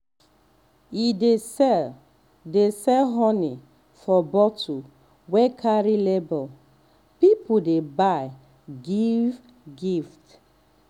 e um dey sell dey sell honey for bottle wey carry label people dey buy give gift